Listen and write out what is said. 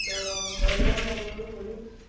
ആഹ് വിലയെന്ന് പറയുന്നത് ഒരു